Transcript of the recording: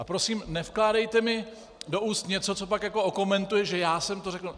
A prosím, nevkládejte mi do úst něco, co pak jako okomentujete, že já jsem to řekl.